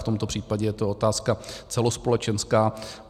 V tomto případě je to otázka celospolečenská.